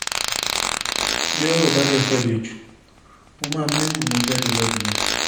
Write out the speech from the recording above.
bí ọ̀rọ̀ bá dé fẹ́ẹ́ le jù mo máa méwu ni mò ń jáde lọ nìyẹn